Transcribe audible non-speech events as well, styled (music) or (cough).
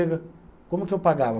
(unintelligible) Como que eu pagava?